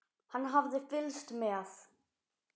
Hann hafði fylgst með